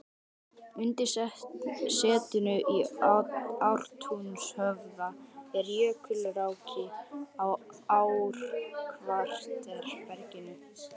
Undir setinu í Ártúnshöfða eru jökulrákir á ár-kvartera berginu.